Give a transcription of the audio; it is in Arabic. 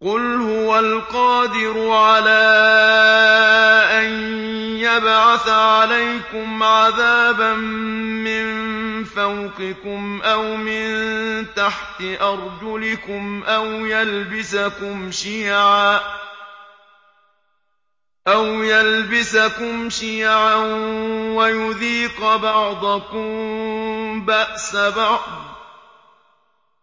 قُلْ هُوَ الْقَادِرُ عَلَىٰ أَن يَبْعَثَ عَلَيْكُمْ عَذَابًا مِّن فَوْقِكُمْ أَوْ مِن تَحْتِ أَرْجُلِكُمْ أَوْ يَلْبِسَكُمْ شِيَعًا وَيُذِيقَ بَعْضَكُم بَأْسَ بَعْضٍ ۗ